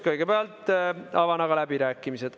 Kõigepealt avan aga läbirääkimised.